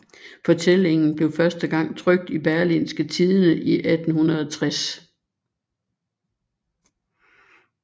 Fortællingen blev første gang trykt i Berlingske Tidende i 1860